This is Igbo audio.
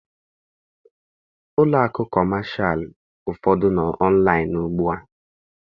Ụlọakụ kọmashalụ ụfọdụ nọ ọnlaịn ugbua